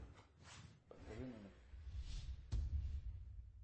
подскажи номер